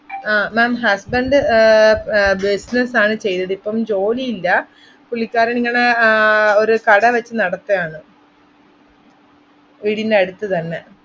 അഹ് ma'am husband ആഹ് പ്~ business ആണ് ചെയ്‌തത്‌. ഇപ്പം ജോലി ഇല്ലാ, പുള്ളിക്കാരൻ ഇങ്ങനെ ആഹ് ഒരു കട വെച്ച് നടത്തായാണ് വീടിൻ്റെ അടുത്ത് തന്നെ.